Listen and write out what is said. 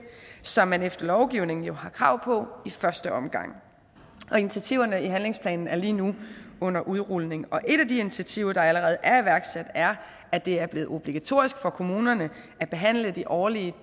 som man efter lovgivningen jo har krav på i første omgang initiativerne i handlingsplanen er lige nu under udrulning et af de initiativer der allerede er iværksat er at det er blevet obligatorisk for kommunerne at behandle de årlige